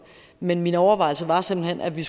men mine overvejelser var simpelt hen at vi